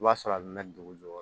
I b'a sɔrɔ a bɛ na dugu jukɔrɔ